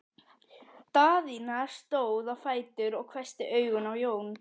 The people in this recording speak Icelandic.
Daðína stóð á fætur og hvessti augun á Jón.